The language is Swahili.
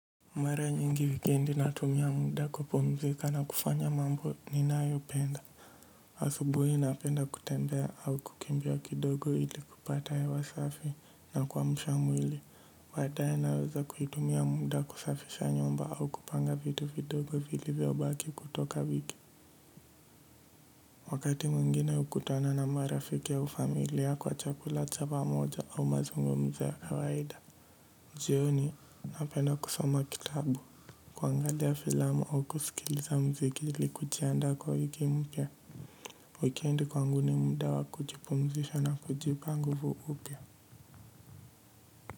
Mara nyingi wikiendi natumia muda kupumzika na kufanya mambo ninayo penda. Asubuhi napenda kutembea au kukimbia kidogo ili kupata hewa safi na kuamsha mwili. Baadae naweza kutumia muda kusafisha nyumba au kupanga vitu vidogo vilivyo baki kutoka viki. Wakati mwingine hukutana na marafiki au familia kwa chakula cha pamoja au mazungumzo ya kawaida. Jioni, napenda kusoma kitabu. Kuangalia filamu au kusikiliza mziki li kuji aanda kwa wiki mpya. Wikiendi kwangu ndi mda wa kujipumzisha na kujipa nguvu upya.